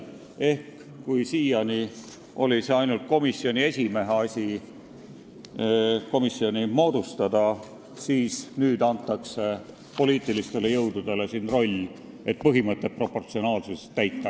Ehk kui siiani oli komisjoni moodustamine ainult komisjoni esimehe asi, siis nüüd antakse poliitilistele jõududele siin roll, et proportsionaalsuse põhimõtet täita.